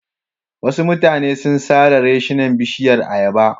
Wasu mutane sun sare reshinan bishiyar ayaba.